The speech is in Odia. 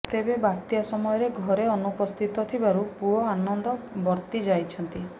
ତେବେ ବାତ୍ୟା ସମୟରେ ଘରେ ଅନୁପସ୍ଥିତ ଥିବାରୁ ପୁଅ ଆନନ୍ଦ ବର୍ତ୍ତି ଯାଇଛନ୍ତି